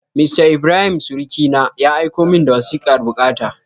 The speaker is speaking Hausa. Mista Ibrahim surukina, ya aiko min da wasikar bukata.